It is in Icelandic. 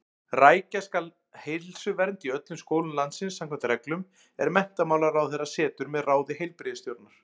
Rækja skal heilsuvernd í öllum skólum landsins samkvæmt reglum, er menntamálaráðherra setur með ráði heilbrigðisstjórnar.